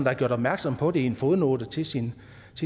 har gjort opmærksom på det i en fodnote til sin